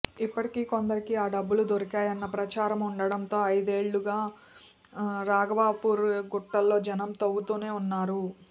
ఇప్పటికే కొందరికి ఆ డబ్బులు దొరికాయన్న ప్రచారమూ ఉండడంతో ఐదేళ్లుగా రాఘవాపూర్ గుట్టల్లో జనం తవ్వుతూనే ఉన్నారు